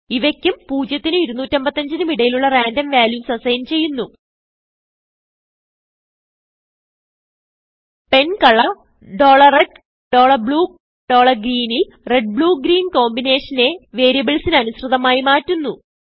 ഇവയ്ക്കും 0നും255നും ഇടയിലുള്ള random values assign ചെയ്യുന്നു പെൻകളർ red bluegreen ൽ red ബ്ലൂ Green കോമ്പിനേഷനെ വേരിയബിൾസിന് അനുസൃതമായി മാറ്റുന്നു